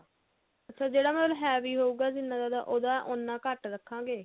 ਅੱਛਾ ਜਿਹੜਾ ਮਤਲਬ heavy ਹੋਊ ਜਿੰਨਾ ਜਿਆਦਾ ਉਹਦਾ ਉੰਨਾ ਘੱਟ ਰੱਖਾਂਗੇ